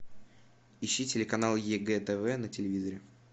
ищи телеканал егэ тв на телевизоре